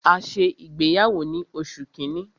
A ṣe ìgbéyàwó ni oṣù kínní.